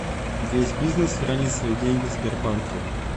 весь бизнес хранит свои деньги в сбербанке